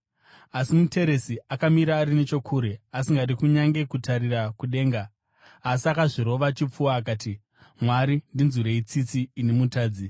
“Asi muteresi akamira ari nechokure, asingadi kunyange kutarira kudenga, asi akazvirova chipfuva akati, ‘Mwari, ndinzwirei tsitsi, ini mutadzi.’